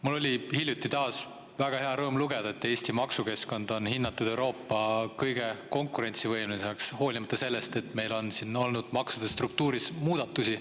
Mul oli hiljuti taas väga hea meel lugeda, et Eesti maksukeskkonda on hinnatud Euroopa kõige konkurentsivõimelisemaks, hoolimata sellest, et meil on siin olnud maksude struktuuris muudatusi.